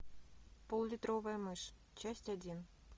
поллитровая мышь часть один